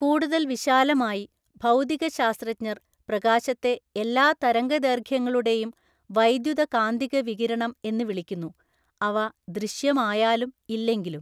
കൂടുതൽ വിശാലമായി, ഭൗതികശാസ്ത്രജ്ഞർ പ്രകാശത്തെ എല്ലാ തരംഗദൈർഘ്യങ്ങളുടെയും വൈദ്യുതകാന്തിക വികിരണം എന്ന് വിളിക്കുന്നു, അവ ദൃശ്യമായാലും ഇല്ലെങ്കിലും.